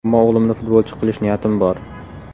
Ammo o‘g‘limni futbolchi qilish niyatim bor.